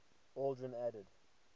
aldrin added